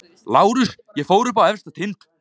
LÁRUS: Ég fór upp á efsta tind.